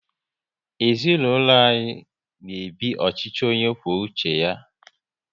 Ezinaụlọ anyị n'ebi ọchịchị onye kwuo uche ya